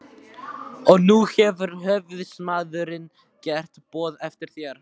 Og nú hefur höfuðsmaðurinn gert boð eftir þér.